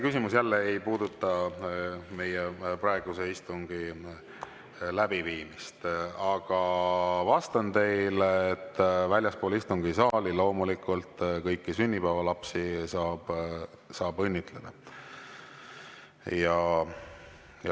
Küsimus jälle ei puuduta praeguse istungi läbiviimist, aga vastan teile, et väljaspool istungisaali saab kõiki sünnipäevalapsi õnnitleda.